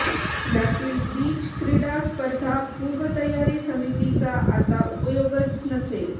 यातील बीच क्रीडा स्पर्धा पूर्वतयारी समितीचा आता उपयोगच नसेल